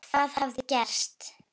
Hvað hafði gerst?